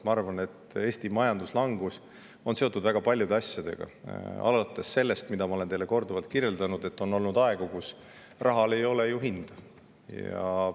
Ma arvan, et Eesti majanduslangus on seotud väga paljude asjadega, alates sellest, mida ma olen teile korduvalt kirjeldanud, et on olnud aegu, kui rahal ei olnud ju hinda.